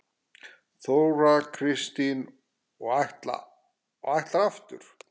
Þóra Kristín: Og ætlarðu aftur?